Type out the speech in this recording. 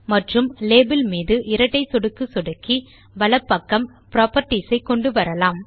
மற்றும் லேபல் மீது இரட்டை சொடுக்கு சொடுக்கி வலப் பக்கம் புராப்பர்ட்டீஸ் ஐ கொண்டு வரலாம்